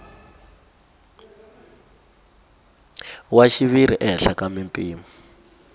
wa xiviri ehenhla ka mimpimo